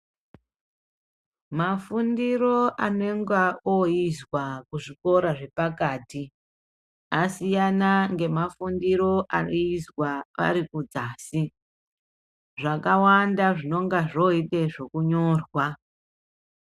Mafundiro anenga ooizwa kuzvikora zvepakati asiyana nemafundiro aiizwa arikudzasi zvakawanda zvinongazvooita zvokunyorwa.